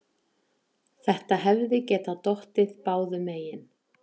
Þetta hefði getað dottið báðum megin.